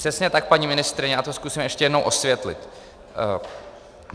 Přesně tak, paní ministryně, já to zkusím ještě jednou osvětlit.